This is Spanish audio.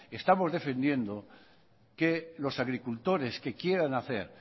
estamos defendiendo que los agricultores que quieran hacer